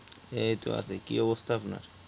এইতো আছি কি অবস্থা আপনার